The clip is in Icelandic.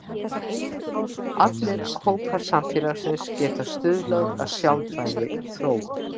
Allir hópar samfélagsins geta stuðlað að sjálfbærri þróun.